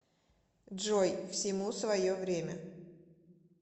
джой всему свое время